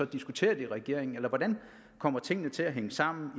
diskutere det i regeringen hvordan kommer tingene til at hænge sammen